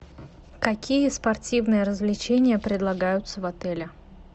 какие спортивные развлечения предлагаются в отеле